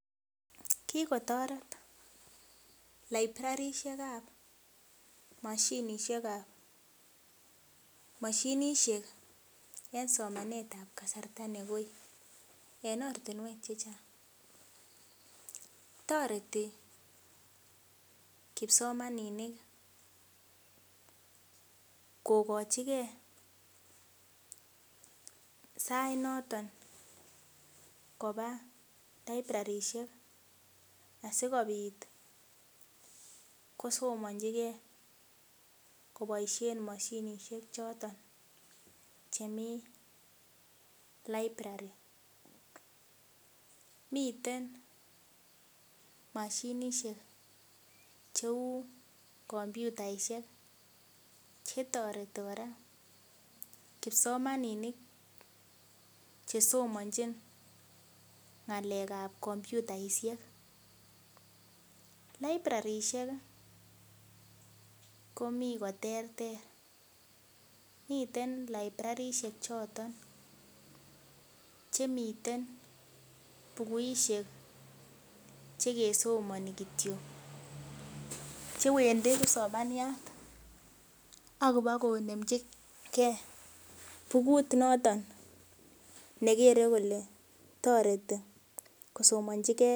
Kikotoret librarishekab mashinishekab ,mashinishek eng somanetab kasarta negoi, en ortinwek chechang toreti kipsomaninik kokochike sainoton kobaa librarishek asikobit kosomonjigee koboisien mashinishek choton chemi library ,miten mashinishek cheu kompyutaisiek chetoreti kora kipsomaninik chesomanjin ng'alekab kompyutaisiek ,librarishiek komii koterter miten librarishek choton chemiten bukuishek chekesomani kityok chewendi kipsomaniat akibokonemjigee bukut noton nekere kole toreti kosomonjigee.